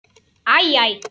Æ, æ!